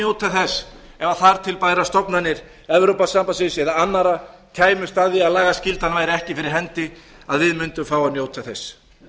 njóta þess ef þar til bærar stofnanir evrópusambandsins eða annarra kæmust að því að lagaskyldan væri ekki fyrir hendi að við mundum fá að njóta þess